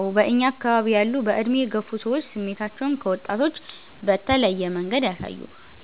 አዎ በእኛ አከባቢ ያሉ በዕድሜ የገፉ ሰዎች ስሜታቸውን ከወጣቶች በተለየ መንገድ